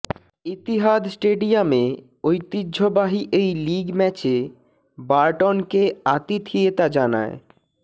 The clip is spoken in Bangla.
ইতিহাদ স্টেডিয়ামে ঐতিহ্যবাহী এই লিগ ম্যাচে বারটনকে আতিথিয়েতা জানায়